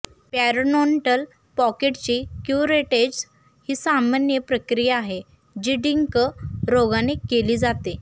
पॅरोनोन्टल पॉकेटची क्युरेटेज ही सामान्य प्रक्रिया आहे जी डिंक रोगाने केली जाते